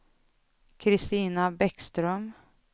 Christina Bäckström